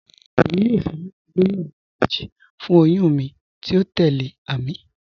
Èmi yóò fẹ́ láti lòyún awọn ìbéjì fún òyùn mi tí o tẹlẹ̀, Àmín.